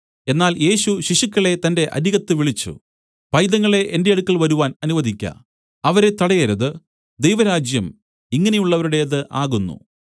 എന്നാൽ യേശു ശിശുക്കളെ തന്റെ അരികത്ത് വിളിച്ചു പൈതങ്ങളെ എന്റെ അടുക്കൽ വരുവാൻ അനുവദിക്ക അവരെ തടയരുത് ദൈവരാജ്യം ഇങ്ങനെയുള്ളവരുടേത് ആകുന്നു